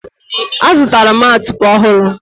azụtara m atupe ọhụrụ